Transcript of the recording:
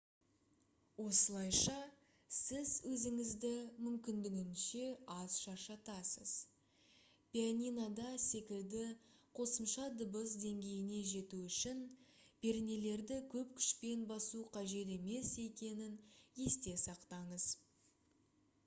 осылайша сіз өзіңізді мүмкіндігінше аз шаршатасыз пианинода секілді қосымша дыбыс деңгейіне жету үшін пернелерді көп күшпен басу қажет емес екенін есте сақтаңыз